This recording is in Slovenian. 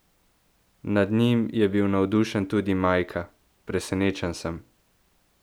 Nad njim je bil navdušen tudi Majka: "Presenečen sem.